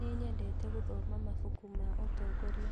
Nĩnyendete gũthoma mabuku ma ũtongoria